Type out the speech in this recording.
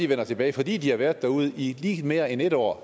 vender tilbage fordi de har været derude i lige mere end en år